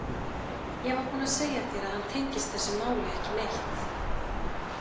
Ég var búin að segja þér að hann tengist þessu máli ekki neitt.